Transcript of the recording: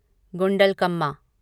Gundlakamma